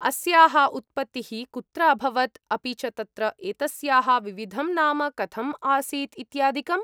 अस्याः उत्पत्तिः कुत्र अभवत् अपि च तत्र एतस्याः विविधं नाम कथम् आसीत् इत्यादिकम्?